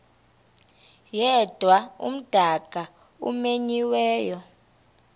yedwa umdaka omenyiweyo